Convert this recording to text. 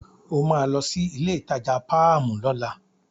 O máa lọ sí ilé-ìtajà páàmù lọ́la.